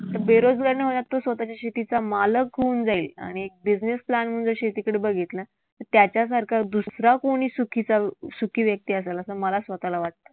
बेरोजगार न तो स्वतःच्या शेतीचा मालक होऊन जाईल. आणि एक business plan म्हणून जर शेतीकडं बघितलं तर त्याच्यासारखा दुसरा कोणी सुखी व्यक्ती असेल असं मला स्वतःला वाटतं.